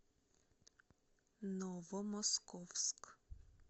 новомосковск